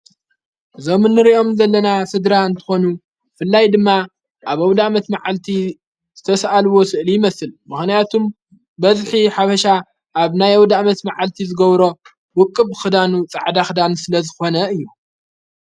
ዞምንርእኦም ዘለና ሥድራ ንትኾኑ ፍላይ ድማ ኣብ ኣውዳዕመት መዓልቲ ዝተሰኣልዎ ስእሊ ይመስል መኾንያቱም በጽኪ ሓብሻ ኣብ ናይ ኣዉዳእመት መዓልቲ ዝገብሮ ውቅብ ኽዳኑ ፃዕዳኽዳን ስለ ዝኾነ እዩ።